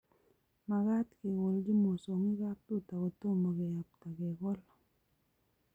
Makaat kekolji mosongik kaptuta kotomo keyapta kekol